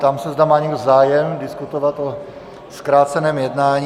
Ptám se, zda má někdo zájem diskutovat o zkráceném jednání.